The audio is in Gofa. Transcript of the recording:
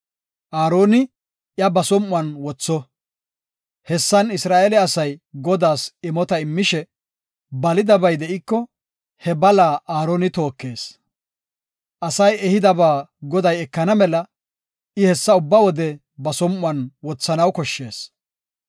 Aaroni iya ba som7uwan wotho. Hessan Isra7eele asay Godaas imota immishe balidabay de7iko, he balaa Aaroni tookees. Asay ehiyaba Goday ekana mela I hessa ubba wode ba som7uwan wothanaw koshshees.